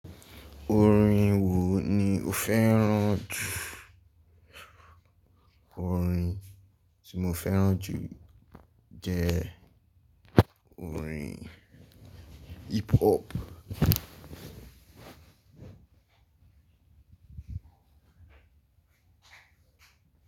Orin wo ni o fẹ́ràn jù? Orin tí mo fẹ́ràn jù jẹ orin hip hop.